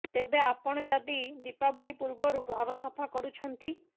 ତେବେ ଆପଣ ଯଦି ଦୀପାବଳୀ ପୂର୍ବରୁ ଘର ସଫା କରୁଛନ୍ତି